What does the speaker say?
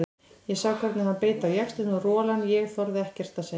Ég sá hvernig hann beit á jaxlinn og rolan ég þorði ekkert að segja.